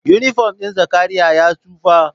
Inifom ɗin Zakariyya ya tsufa